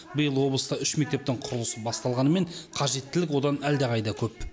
биыл облыста үш мектептің құрылысы басталғанымен қажеттілік одан әлдеқайда көп